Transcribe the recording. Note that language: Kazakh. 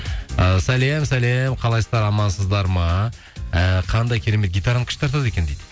і сәлем сәлем қалайсыздар амансыздар ма і қандай керемет гитараны күшті тартады екен дейді